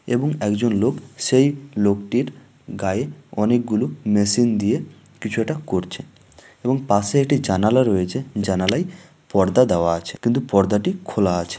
এবং একজন লোক সেই লোকটার গায়ে অনেক গুলো মেশিন দিয়ে কিছু একটা করছে এবং পাশে একটি জানালা রয়েছে জানালাই পর্দা দেওয়া আছে | কিন্তু পর্দাটি খোলা আছে ।